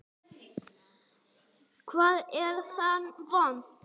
Hvar er það vont?